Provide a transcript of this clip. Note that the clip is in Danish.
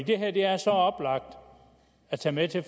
det her er så oplagt at tage med til